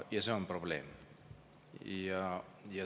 Ja see on probleem.